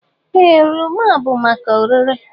Ee, oroma bụ maka ọrere.